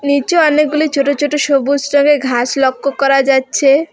নিচে অনেকগুলি ছোট ছোট সবুজ রঙের ঘাস লক্ষ্য করা যাচ্ছে।